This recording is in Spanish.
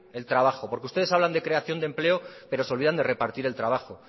el trabajo porque ustedes hablan de creación de empleo pero se olvidan de repartir el trabajo